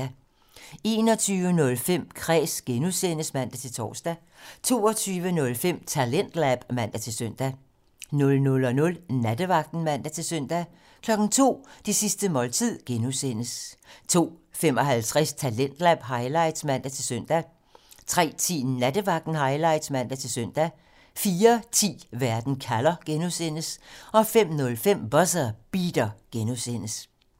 21:05: Kræs (G) (man-tor) 22:05: Talentlab (man-søn) 00:00: Nattevagten (man-søn) 02:00: Det sidste måltid (G) 02:55: Talentlab highlights (man-søn) 03:10: Nattevagten Highlights (man-søn) 04:10: Verden kalder (G) 05:05: Buzzer Beater (G)